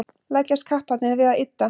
leggjast kapparnir við að ydda